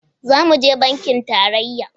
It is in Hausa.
Za mu je bankin tarayya.